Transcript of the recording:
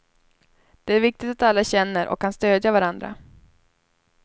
Det är viktigt att alla känner och kan stödja varandra.